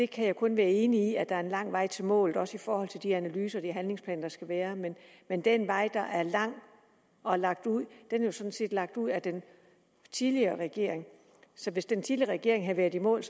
kan kun være enig i at der er en lang vej til målet også i forhold til de analyser og de handlingsplaner der skal være men den vej der er lang og lagt ud er jo sådan set lagt ud af den tidligere regering så hvis den tidligere regering havde været i mål